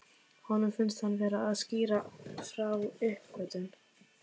Honum finnst hann vera að skýra frá uppgötvun.